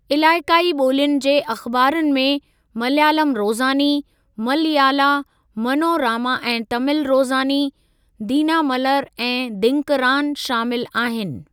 इलाइक़ाई ॿोलियुनि जे अख़िबारुनि में मलयालम रोज़ानी, मलयाला मनोरामा ऐं तामिल रोज़ानी, दीनामलर ऐं दींकरान शामिलु आहिनि।